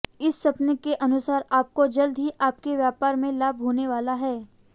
इस सपने के अनुसार आपको जल्द ही आपके व्यापार में लाभ होने वाला है